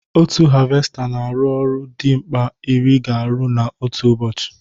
Otu havesta na arụ ọrụ dị mkpa ịrị ga arụ na otu ụbọchị